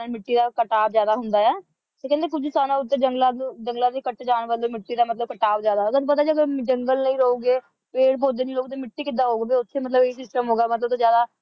ਦਾ ਕਟਾਵ ਜਿਆਦਾ ਹੁੰਦਾ ਹੈ ਤੇ ਕਹਿੰਦੇ ਕੁਝ ਥਾਵਾਂ ਉੱਤੇ ਜੰਗਲਾਂ ਤੇ ਜੰਗਲਾਂ ਦੇ ਕੱਟ ਜਾਣ ਵਜੋਂ ਮਿੱਟੀ ਦਾ ਮਤਲਬ ਕਟਾਵ ਜਿਆਦਾ ਹੈਗਾ ਤੁਹਾਨੂੰ ਪਤਾ ਹੈ ਜਦੋਂ ਜੰਗਲ ਨਹੀਂ ਰਹੂੰਗੇ ਪੇਡ ਪੌਧੇ ਨਹੀਂ ਰਹੂੰਗੇ ਤਾਂ ਮਿੱਟੀ ਕਿੱਦਾਂ ਆਊਗੀ ਫੇਰ ਉੱਥੇ ਮਤਲਬ ਇਹ system ਹੋਊਗਾ ਮਤਲਬ ਵੱਧ ਤੋਂ ਜਿਆਦਾ